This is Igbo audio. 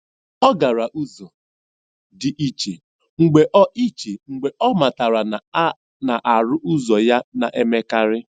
Ọ gara ụzọ dị iche mgbe ọ iche mgbe ọ matara na a na-arụ ụzọ ya na-emekarị.